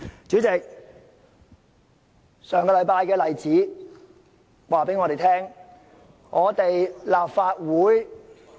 主席，上星期的例子告訴我們，立法會......